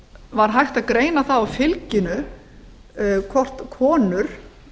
var hægt að greina það á fylginu hvort konur